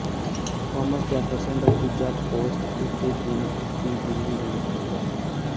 Thomas Jefferson ਦਾ ਤੀਜਾ POTUS ਉਸੇ ਦਿਨ ਉਸੇ ਦਿਨ ਦੀ ਮੌਤ ਹੋ ਗਿਆ